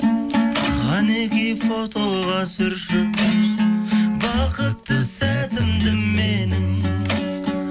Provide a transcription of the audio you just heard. қанекей фотоға түсірші бақытты сәтімді менің